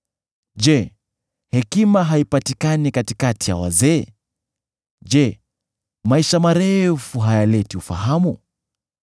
Je, hekima haipatikani katikati ya wazee? Je, maisha marefu hayaleti ufahamu?